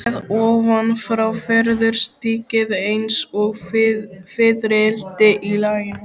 Séð ofan frá verður stykkið eins og fiðrildi í laginu.